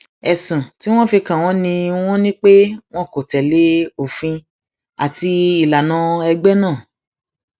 ẹsùn tí wọn fi kàn wọn ni wọn ni pé wọn kò tẹlé òfin àti ìlànà ẹgbẹ náà